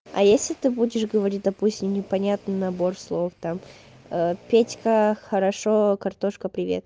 а если ты будешь говорить допустим непонятный набор слов там петька хорошо картошка привет